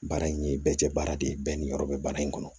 Baara in ye bɛɛ cɛ baara de ye bɛɛ ni yɔrɔ bɛ baara in kɔnɔ